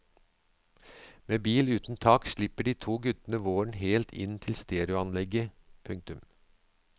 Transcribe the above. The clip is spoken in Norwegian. Med bil uten tak slipper de to guttene våren helt inn til stereoanlegget. punktum